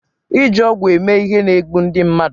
iji ọgwụ eme ihe na-egbu ndị mmadụ